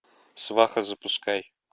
сваха запускай